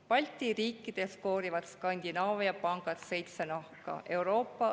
Balti riikides koorivad Skandinaavia pangad seitse nahka.